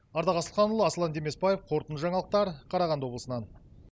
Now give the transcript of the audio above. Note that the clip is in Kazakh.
ардақ асылханұлы асылан демесбаев қорытынды жаңалықтар қарағанды облысынан